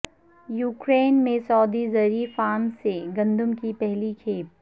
Ukraine میں سعودی زرعی فارمز سے گندم کی پہلی کھیپ